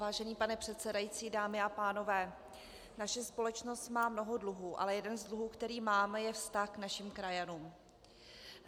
Vážený pane předsedající, dámy a pánové, naše společnost má mnoho dluhů, ale jeden z dluhů, které máme, je vztah k našim krajanům.